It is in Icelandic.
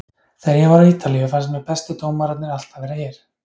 Þegar ég var á Ítalíu fannst mér bestu dómararnir alltaf vera hér.